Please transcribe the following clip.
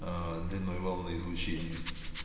аа длиной волны излучения